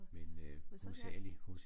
Men så her